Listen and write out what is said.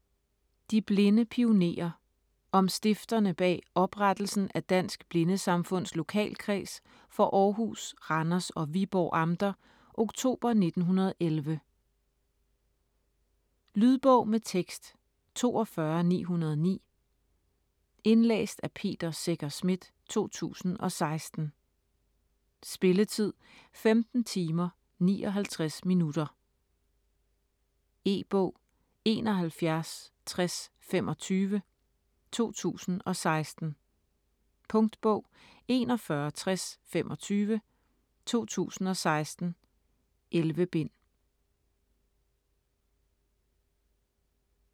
De blinde pionerer: om stifterne bag oprettelsen af Dansk Blindesamfunds Lokalkreds for Aarhus, Randers og Viborg amter oktober 1911 Lydbog med tekst 42909 Indlæst af Peter Secher Schmidt, 2016. Spilletid: 15 timer, 59 minutter. E-bog 716025 2016. Punktbog 416025 2016. 11 bind.